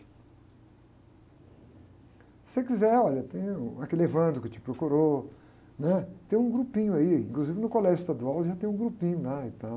Se você quiser, olha, tem, uh, aquele que te procurou, né? Tem um grupinho aí, inclusive no colégio estadual já tem um grupinho lá e tal.